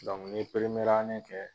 dɔnku n ye peremerande kɛ